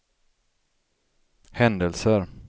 händelser